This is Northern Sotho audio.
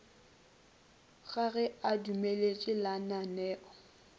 ga ge a dumeletše lananeo